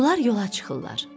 Bunlar yola çıxırlar.